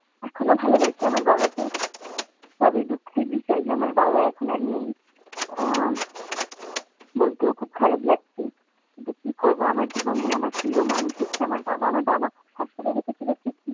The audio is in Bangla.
এখনো ভালোবাসি আমার বাবাকে। তবে দুঃখের বিষয় যে, আমার বাবা এখন আর নেই। আহ বলতেও খুব খারাপ লাগছে যে, কি করবো? আমার জীবনে আমার প্রিয় মানুষ হচ্ছে, আমার বাবা আমার বাবা আসলেই সুখী